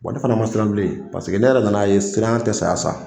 Wa ne fana ma siran bilen . Paseke ne yɛrɛ nana ye ,siranya te saya sa.